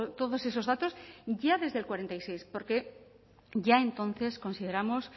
todos esos datos ya desde el cuarenta y seis porque ya entonces consideramos